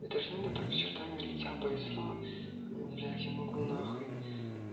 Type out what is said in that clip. это ж надо так с чертами лица повезло блядь я могу нахуй